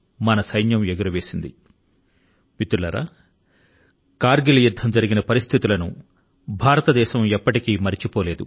మిత్రులారా ఎటువంటి పరిస్థితుల లో కర్ గిల్ యుద్ధం చోటుచేసుకొందో భారతదేశం ఎన్నటికీ మరచిపోజాలదు